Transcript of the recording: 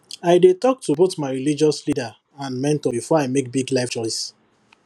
i dey talk to both my religious leader and mentor before i make big life choice